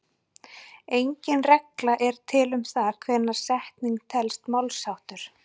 Engin regla er til um það hvenær setning telst málsháttur.